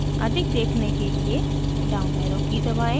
अधिक देखने के लिए down arrow की दबाएँ